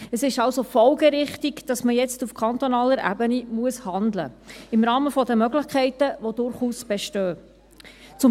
Es ist also folgerichtig, dass man jetzt auf kantonaler Ebene im Rahmen der Möglichkeiten, die durchaus bestehen, handeln muss.